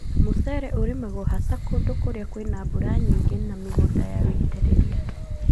Mũcere ũrimagwo haca kũndũ kũrĩa kwĩna mbura nyingĩ na mĩgũnda ya wĩitĩrĩria.